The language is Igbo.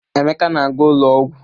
Emeka na-aga ụlọ ọgwụ.